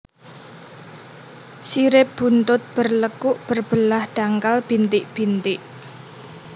Sirip buntut berlekuk berbelah dangkal bintik bintik